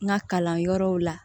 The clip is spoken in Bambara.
N ka kalan yɔrɔw la